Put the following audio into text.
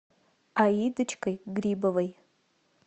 аидочкой грибовой